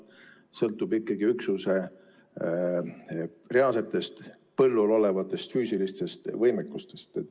See sõltub ikkagi üksuse reaalsetest põllul olevatest füüsilistest võimekustest.